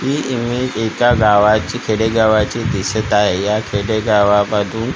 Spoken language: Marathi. ही इमेज एका गावाची खेडेगावाची दिसतं आहे. या खेडेगावामधी--